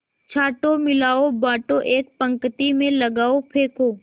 छाँटो मिलाओ बाँटो एक पंक्ति में लगाओ फेंको